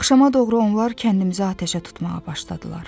Axşama doğru onlar kəndimizi atəşə tutmağa başladılar.